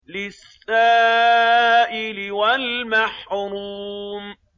لِّلسَّائِلِ وَالْمَحْرُومِ